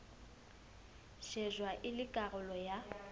shejwa e le karolo ya